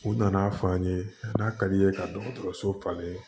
U nana'a fɔ an ye n'a ka d'i ye ka dɔgɔtɔrɔso falen